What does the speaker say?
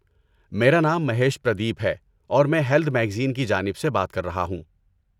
میرا نام مہیش پردیپ ہے اور میں ہیلتھ میگزین کی جانب سے بات کر رہا ہوں۔